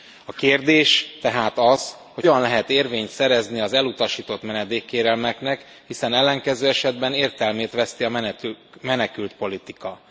A kérdés tehát az, hogy hogyan lehet érvényt szerezni az elutasított menedékkérelmeknek, hiszen ellenkező esetben értelmét veszti a menekültpolitika.